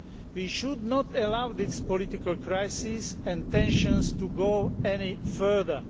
We should not allow this political crisis and tensions to go any further.